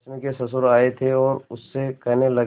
रश्मि के ससुर आए थे और उससे कहने लगे